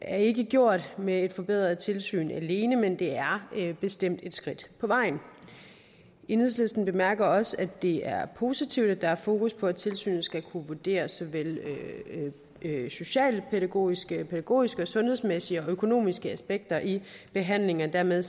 er ikke gjort med et forbedret tilsyn alene men det er bestemt et skridt på vejen enhedslisten bemærker også at det er positivt at der er fokus på at tilsynet skal kunne vurdere såvel socialpædagogiske og pædagogiske og sundhedsmæssige og økonomiske aspekter i behandlingen og dermed